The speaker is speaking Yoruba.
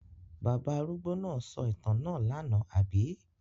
Bàbá arúgbó náà sọ ìtàn náà lánàá, àbí?